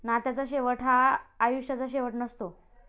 नात्याचा शेवट हा आयुष्याचा शेवट नसतो.